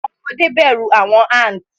Awọn ọmọde bẹru awọn ants